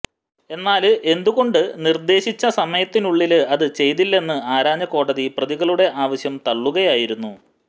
എന്നാല് എന്തുകൊണ്ട് നിര്ദേശിച്ച സമയത്തിനുള്ളില് അത് ചെയ്തില്ലെന്ന് ആരാഞ്ഞ കോടതി പ്രതികളുടെ ആവശ്യം തള്ളുകളായിരുന്നു